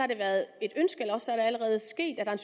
det været et ønske eller også er det allerede sket at der er